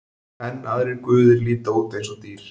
Enn aðrir guðir líta út eins og dýr.